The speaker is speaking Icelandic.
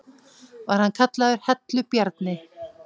Var hann kallaður Hellu-Bjarni.